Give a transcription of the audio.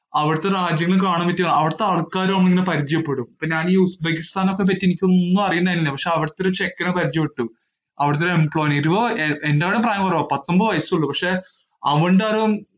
അവിടത്തെ രാജ്യങ്ങളിൽ കാണാൻപറ്റിയത് അവിടത്തെ ആൾക്കാര് വന്നിങ്ങനെ പരിചയപ്പെടും, അപ്പൊ ഞാൻ ഈ ഉസ്ബെക്കിസ്ഥാനെയൊക്കെപ്പറ്റി എനിക്ക് ഒന്നു അറിയുന്നുണ്ടായിരുന്നില്ല. പക്ഷെ അവിടത്തെ ഒരു ചെക്കനെ പരിചയപ്പെട്ടു. അവിടത്തെ ഒരു employee ഏർ എന്നെക്കാളും പ്രായം കൊറവാ, പത്തൊൻപത് വയസ്സേ ഉളളൂ. പക്ഷേ അവൻ്റെ അറിവും